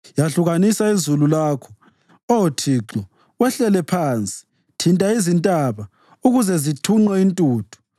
Yahlukanisa izulu lakho, Oh Thixo, wehlele phansi; thinta izintaba, ukuze zithunqe intuthu.